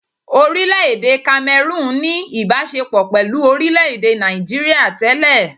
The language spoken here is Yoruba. Orílẹ-èdè Cameroon ní ìbaṣepọ̀ pẹ̀lú orílẹ̀-èdè Nigeria tẹ́lẹ̀.